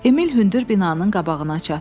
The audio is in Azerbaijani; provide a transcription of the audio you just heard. Emil hündür binanın qabağına çatdı.